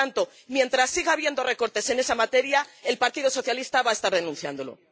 Por lo tanto, mientras siga habiendo recortes en esa materia, el Partido Socialista va a seguir denunciándolo.